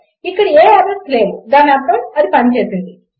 ఇక్కడ ఏ ఎర్రర్స్ లేవు దాని అర్థం అది పని చేసింది